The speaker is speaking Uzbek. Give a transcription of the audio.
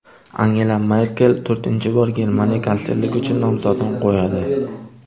Angela Merkel to‘rtinchi bor Germaniya kanslerligi uchun nomzodini qo‘yadi.